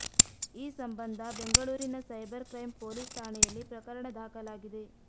ಈ ಸಂಬಂಧ ಬೆಂಗಳೂರಿನ ಸೈಬರ್ ಕ್ರೈಂ ಪೊಲೀಸ್ ಠಾಣೆಯಲ್ಲಿ ಪ್ರಕರಣ ದಾಖಲಾಗಿದೆ